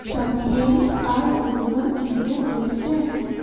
some hills are visible in the distance.